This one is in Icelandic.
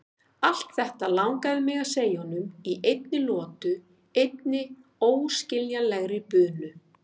Allt þetta langaði mig að segja honum í einni lotu, einni óskiljanlegri bunu.